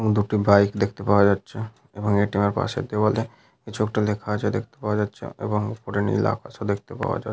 এবং দুটি বাইক দেখতে পাওয়া যাচ্ছে এবং এ.টি.এম. এর পাশের দেওয়ালে কিছু একটা লেখা আছে দেখতে পাওয়া যাচ্ছে এবং উপরে নীল আকাশ ও দেখতে পাওয়া যাচ --